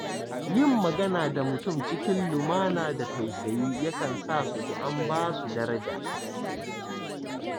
Yin magana da mutum cikin lumana da tausayi yakan sa su ji an ba su daraja.